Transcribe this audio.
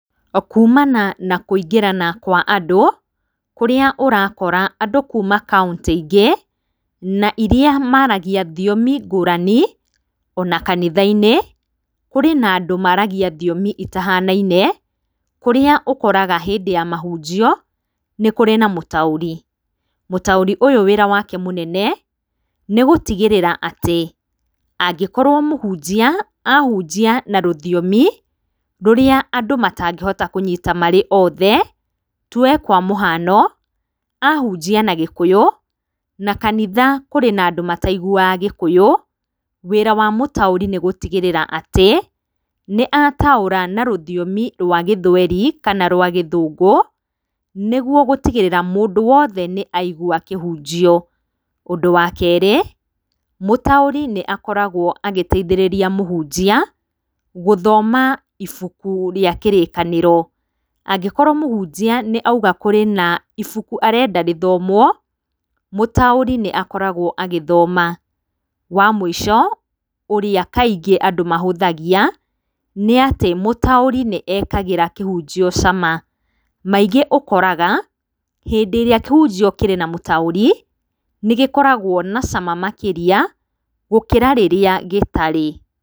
Kuumana na kũingĩrana kwa andũ, kũrĩa ũrakora andũ kuuma kaũnti ingĩ na iria maragĩa thiomi ngũrani, ona kanitha-inĩ kũrĩ na andũ maragia thiomi itahanaine, kũrĩa ũkoraga hĩndĩ ya mahũnjio nĩ kũrĩ na mũtaũri. Mũtaũri ũyũ wĩra wake munene nĩ gũtigĩrĩra atĩ, angĩkorwo mũhũnjia ahũnjia na rũthiomi rũrĩa andũ matangĩhota kũnyĩta marĩ othe, tuoe kwa mũhano, ahunjia na gĩkũyũ na kanitha kũrĩ andũ mataigũaga gikũyũ, wĩra wa mutaũri nĩ gũtigĩrĩra atĩ nĩ ataũra na rũthiomi rwa gĩthweri kana rwa gĩthũngũ, nĩguo gũtigĩrĩra mũndũ wothe nĩ aĩgũa kĩhũnjio. Ũndũ wa kerĩ, mũtaũri nĩ akoragwo agĩteithĩrĩrĩa mũhũnjia gũthoma ibũkũ rĩa kĩrĩkanĩro, angĩkorwo mũhunjia nĩ auga kwĩ na ibũkũ arenda rĩthomwo, mũtaũri nĩ akoragwo agĩthoma. Wa mũico ũrĩa kaingĩ andũ mahũthagia nĩ atĩ, mũtaũri nĩekagĩra kĩhũnjio cama. Maingĩ ũkoraga hĩndĩ ĩrĩa kĩhunjio kĩrĩ na mũtauri nĩ gĩkoragwo na cama makĩrĩa gũkĩra rĩrĩa gĩtarĩ.